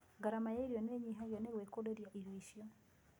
Gharama ya irio nĩnyihagio na gwĩkũrĩria irio ciaku